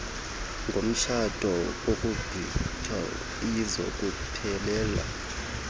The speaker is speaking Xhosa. ngomtshato kaguguiethu ziyokuphelela